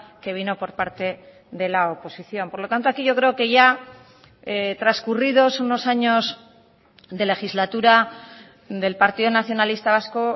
que vino por parte de la oposición por lo tanto aquí yo creo que ya transcurridos unos años de legislatura del partido nacionalista vasco